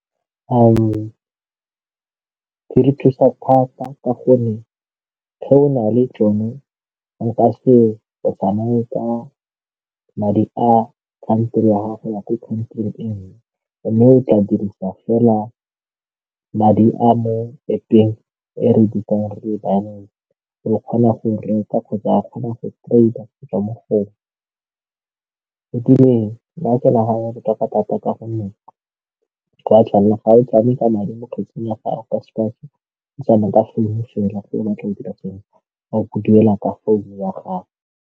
Di re thusa thata ka gonne ge o na le tsone nka se go fane ka madi a ya gagwe ya kwa mme o tla dirisa fela madi a mo App-eng e re re kgona go reka kgotsa kgona go ga botoka thata ka gonne ga o tlale ka madi mo ya gago ka sekao ke tsamaya ka fela fa o batla go dira ga o ke duela ka founu ya gago.